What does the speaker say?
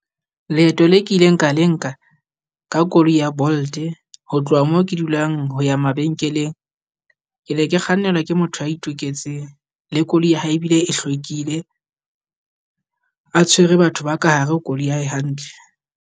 Leeto le ke ileng ka le nka ka koloi ya Bolt-e ho tloha moo ke dulang ho ya mabenkeleng. Ke ne ke kgannelwa ke motho ya itoketseng, le koloi ya hao ebile e hlwekile, a tshwere batho ba ka hare ho koloi ya hae hantle.